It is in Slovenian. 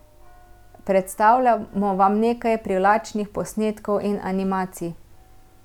Predstavljamo vam nekaj privlačnih posnetkov in animacij.